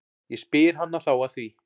Ég spyr hana þá að því.